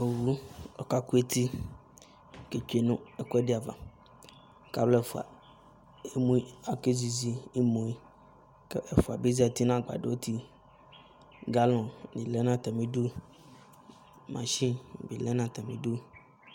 owu ka ko eti ke tsue no ɛkuɛdi ava ko alo ɛfua emu ko akezizi imue ko efua bi zati no agbadɔ ayiti galɔn bi lɛ no atami du mashin bi lɛ no atami du